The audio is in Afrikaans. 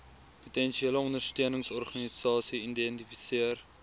potensiële ondersteuningsorganisasie identifiseer